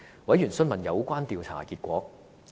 委員詢問有關調查的結果。